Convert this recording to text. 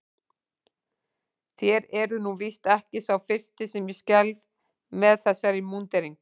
Þér eruð nú víst ekki sá fyrsti sem ég skelfi með þessari múnderingu.